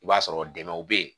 I b'a sɔrɔ dɛmɛw bɛ ye